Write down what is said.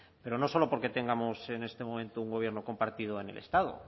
pero no solo porque tengamos en este momento un gobierno compartido en el estado